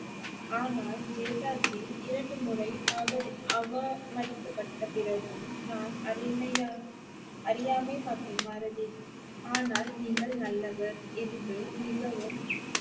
ஆனால் தேதாஜி இரண்டு முறை அவ~ அவமதிக்கப்பட்ட பிறகும் நான் அறிமையா~ அறியாமை மற்றும் மறதி ஆனால் நீங்கள் நல்லவர் என்று மிகவும்